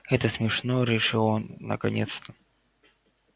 это смешно решил он наконец-то